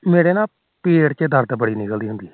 ਮੇਰੇ ਨਾ ਪੇਟ ਚ ਦਰਦ ਬੜੀ ਹੁੰਦੀ ਪਈ